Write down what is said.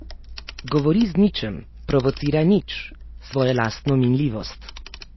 Govori z ničem, provocira nič, svojo lastno minljivost.